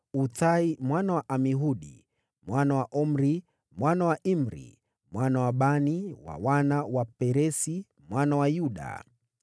Uthai mwana wa Amihudi, mwana wa Omri, mwana wa Imri, mwana wa Bani, wa wana wa Peresi, mwana wa Yuda.